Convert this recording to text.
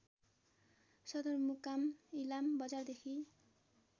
सदरमुकाम इलाम बजारदेखि